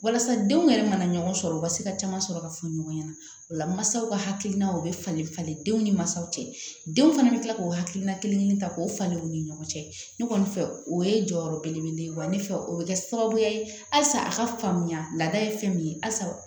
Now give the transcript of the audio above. Walasa denw yɛrɛ mana ɲɔgɔn sɔrɔ u ka se ka caman sɔrɔ ka fɔ ɲɔgɔn ɲɛna o la masaw ka hakilina o bɛ falen falen denw ni mansaw cɛ denw fana bɛ kila k'o hakilina kelen kelen ta k'o falen u ni ɲɔgɔn cɛ ne kɔni fɛ o ye jɔyɔrɔ belebele wa ne fɛ o bɛ kɛ sababuya ye halisa a ka faamuya la laada ye fɛn min ye halisa